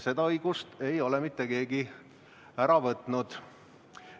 Seda õigust ei ole mitte keegi ära võtnud.